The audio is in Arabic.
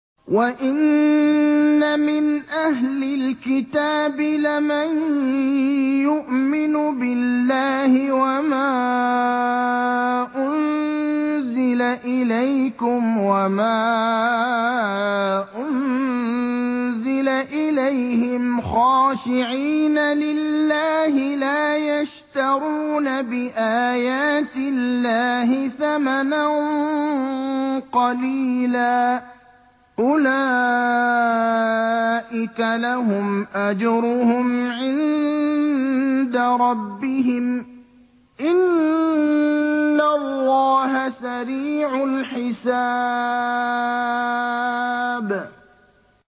وَإِنَّ مِنْ أَهْلِ الْكِتَابِ لَمَن يُؤْمِنُ بِاللَّهِ وَمَا أُنزِلَ إِلَيْكُمْ وَمَا أُنزِلَ إِلَيْهِمْ خَاشِعِينَ لِلَّهِ لَا يَشْتَرُونَ بِآيَاتِ اللَّهِ ثَمَنًا قَلِيلًا ۗ أُولَٰئِكَ لَهُمْ أَجْرُهُمْ عِندَ رَبِّهِمْ ۗ إِنَّ اللَّهَ سَرِيعُ الْحِسَابِ